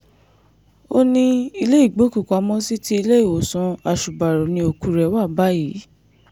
ó ní ilé ìgbọ́kùpamọ́sí ti iléèwòsàn àṣùbàrọ̀ ni òkú rẹ̀ wà báyìí